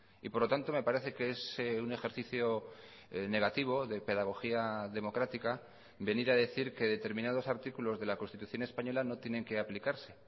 y por lo tanto me parece que es un ejercicio negativo de pedagogía democrática venir a decir que determinados artículos de la constitución española no tienen que aplicarse